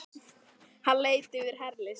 Hann leit yfir herlið sitt.